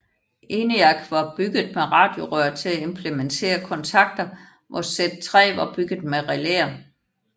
ENIAC var bygget med radiorør til at implementere kontakter hvor Z3 var bygget med relæer